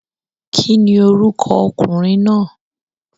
Kíni orúkọ okùnrin náà?